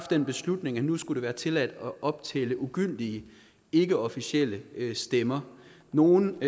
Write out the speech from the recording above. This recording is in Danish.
den beslutning at nu skulle det være tilladt at optælle ugyldige ikkeofficielle stemmer nogle